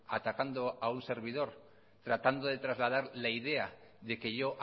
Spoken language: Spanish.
atacando a un servidor tratando de trasladar la idea de que yo